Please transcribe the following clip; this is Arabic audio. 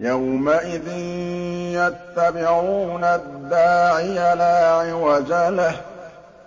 يَوْمَئِذٍ يَتَّبِعُونَ الدَّاعِيَ لَا عِوَجَ لَهُ ۖ